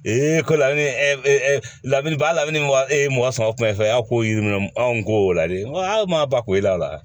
ko lamini lamini b'a la ni wa e ye mɔgɔ sɔrɔ kuma min fɔ a y'a ko yir'i minɛ anw ko dɛ a ma ba kun ye a la